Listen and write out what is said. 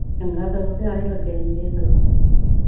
ਚੰਗਾ ਸਗੋਂ ਕਿ ਆਰੇ ਲੱਗੇ ਰਹਿੰਦੇ ਸਗੋਂ